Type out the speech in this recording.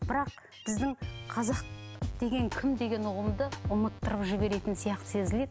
бірақ біздің қазақ деген кім деген ұғымды ұмыттырып жіберетін сияқты сезіледі